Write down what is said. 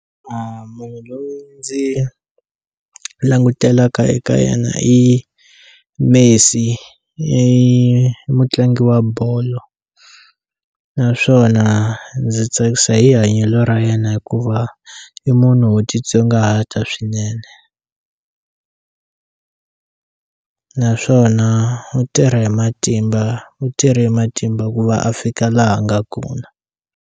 Munhu loyi ndzi langutelaka eka yena i Messi, i mutlangi wa bolo naswona ndzi tsakisa hi hanyelo ra yena hikuva i munhu wo titsongahata swinene naswona u tirha hi matimba u tirhe hi matimba ku va a fika laha a nga kona.